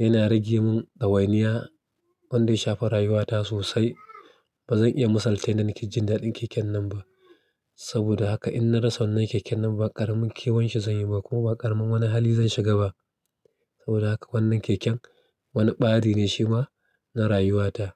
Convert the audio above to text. yana rage mun ɗawainiya wanda ya shafa rayuwa ta sosai. Ba zan iya misalta yanda na ke jin daɗin keken nan ba. Saboda haka in na rasa wannan keken nan ba ƙaramin kewan shi zan yi ba, kuma ba ƙaramin wani hali zan shiga ba. Saboda haka wannan keken wani ɓari ne shi ma na rayuwa ta.